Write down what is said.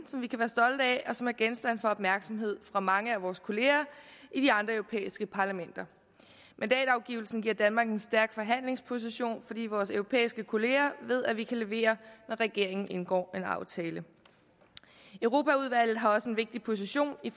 vi kan være stolte af og som er genstand for opmærksomhed fra mange af vores kollegaer i de andre europæiske parlamenter mandatafgivelsen giver danmark en stærk forhandlingsposition fordi vores europæiske kollegaer ved at vi kan levere når regeringen indgår en aftale europaudvalget har også en vigtig position i